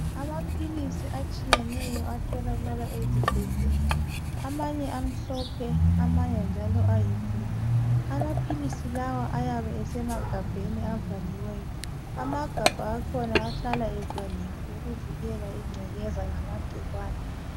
Amapilisi atshiyeneyo atholakala esibhedlela, amanye amhlophe, amanye njalo ayi 'blue '. Amapilisi lawa ayabe isemagabheni avaliweyo. Amagabha akhona ahlala evaliwe ukuvikela ingcekeza lamagcikwane.